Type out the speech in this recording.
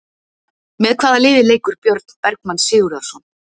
Með hvaða liði leikur Björn Bergmann Sigurðarson?